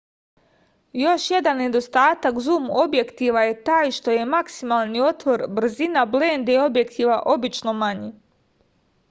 још један недостатак зум објектива је тај што је максимални отвор брзина бленде објектива обично мањи